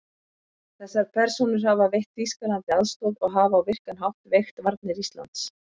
Þessar persónur hafa veitt Þýskalandi aðstoð og hafa á virkan hátt veikt varnir Íslands.